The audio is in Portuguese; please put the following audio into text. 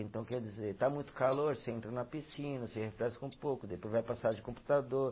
Então, quer dizer, está muito calor, você entra na piscina, você refresca um pouco, depois vai para a sala de computador.